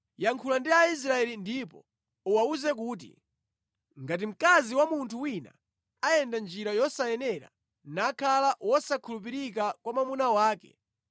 “Yankhula ndi Aisraeli ndipo uwawuze kuti, ‘Ngati mkazi wa munthu wina ayenda njira yosayenera nakhala wosakhulupirika kwa mwamuna wake,